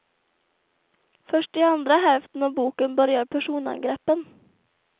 Först i andra hälften av boken börjar personangreppen.